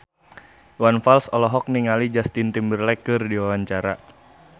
Iwan Fals olohok ningali Justin Timberlake keur diwawancara